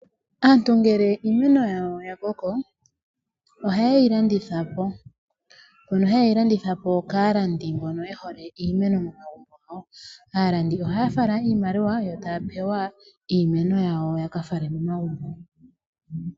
Aantu ngele iimeno yawo ya koko oha ye yi landitha po. Ohaye yi landitha po kaalandi mbono ye hole iimeno. Aalandi ohaya fala iimaliwa yo ya pewa iimeno yawo ya fale komagumbo.